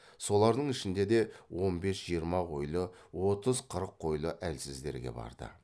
солардың ішінде де он бес жиырма қойлы отыз қырық қойлы әлсіздерге барды